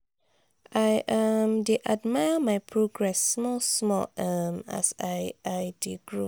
i um dey admire my progress small small um as i i dey grow.